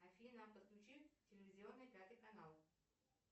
афина подключи телевизионный пятый канал